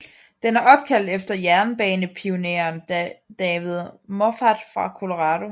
Den er opkaldt efter jernbanepionæren David Moffat fra Colorado